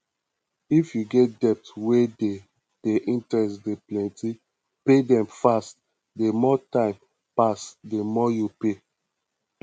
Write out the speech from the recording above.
if you get debt wey di di interest dey plenty pay dem fast di more time pass di more you pay